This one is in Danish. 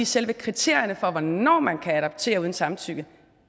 selve kriterierne for hvornår man kan adoptere uden samtykke